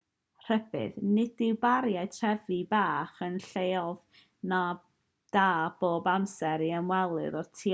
rhybudd nid yw bariau trefi bach yn lleoedd da bob amser i'r ymwelydd o'r tu allan i'r dalaith dreulio amser